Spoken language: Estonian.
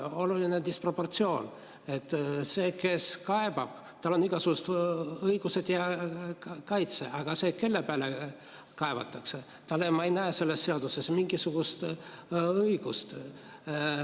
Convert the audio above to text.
Oluline disproportsioon: sel, kes kaebab, on igasugused õigused ja kaitse, aga sellel, kelle peale kaevatakse, ma ei näe selles seaduses mingisugust õigust.